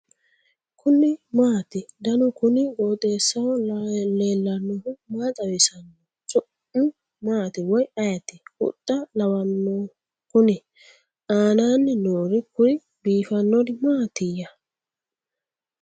kuni maati ? danu kuni qooxeessaho leellannohu maa xawisanno su'mu maati woy ayeti ? huxxa lawanno kuni ? aananni noori kuri biifannori maatiya